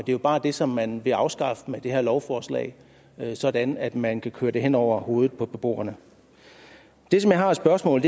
jo bare det som man vil afskaffe med det her lovforslag sådan at man kan køre det hen over hovedet på beboerne det som jeg har af spørgsmål